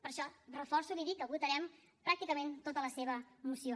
per això reforço i li dic que votarem pràcticament tota la seva moció